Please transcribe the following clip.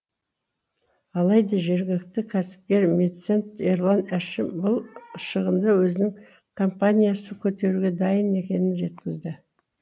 алайда жергілікті кәсіпкер меценат ерлан әшім бұл шығынды өзінің компаниясы көтеруге дайын екенін жеткізді